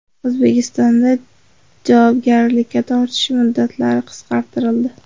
O‘zbekistonda javobgarlikka tortish muddatlari qisqartirildi.